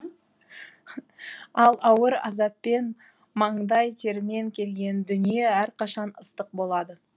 ал ауыр азаппен маңдай термен келген дүние әрқашан ыстық болады